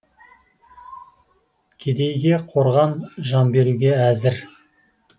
кедейге қорған жан беруге әзір